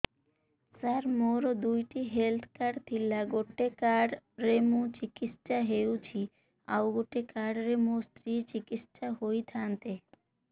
ସାର ମୋର ଦୁଇଟି health card ଥିଲା ଗୋଟେ କାର୍ଡ ରେ ମୁଁ ଚିକିତ୍ସା ହେଉଛି ଆଉ ଗୋଟେ କାର୍ଡ ରେ ମୋ ସ୍ତ୍ରୀ ଚିକିତ୍ସା ହୋଇଥାନ୍ତେ